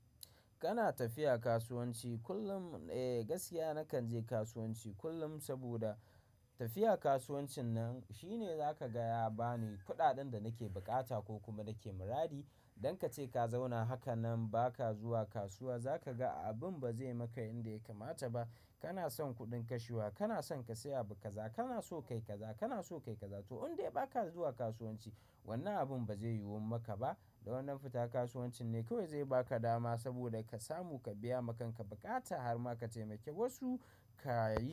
Kana tafiya kasuwanci kullum. Eh, gaskiya nakan je kasuwanci kullum saboda tafiya kasuwancin nan shi ne zaka gaya bani kuɗaɗen da nake buƙata ko kuma nake muradi. Don kace ka zauna haka nan baka zuwa kasuwa za ka ga abin ba zai maka inda ya kamata ba. Kana son kuɗin kashewa, kana son ka saya abu kaza, kana so kai kaza, kana so kai kaza to in dai baka zuwa kasuwanci wannan abin ba zai yiwun maka ba. Dan wannan fita kasuwancin ne kawai zai baka dama saboda ka samu ka biya makanka bukata har ma ka taimaki wasu kayi.